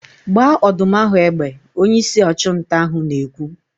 "Gbaa ọdụm ahụ egbe!' Onyeisi ọchụnta ahụ na-ekwu.